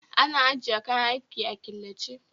Ana ajiye kayan aiki a killace